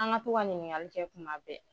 An ka to ka ɲinikali kɛ kuma bɛɛ.